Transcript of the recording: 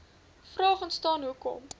vraag ontstaan hoekom